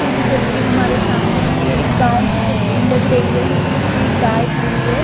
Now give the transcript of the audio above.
कि जो तस्वीर हमारे सामने है ये एक गाँव की तस्वीर लग रही है क्यूंकि इसमें एक गाय खड़ी है।